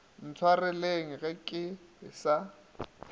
ntshwareleng ke be ke sa